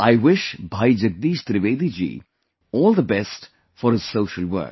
I wish Bhai Jagdish Trivedi ji all the best for his social work